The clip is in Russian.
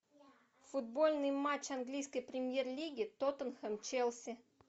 футбольный матч английской премьер лиги тоттенхэм челси